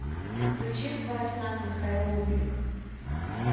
включи в твоих снах михаил бублик